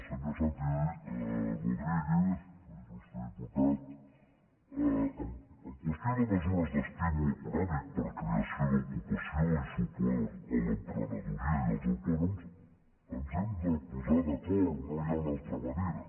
senyor santi rodríguez il·lustre diputat en qüestió de mesures d’estímul econòmic per a creació d’ocupació i suport a l’emprenedoria i als autònoms ens hem de posar d’acord no hi ha una altra manera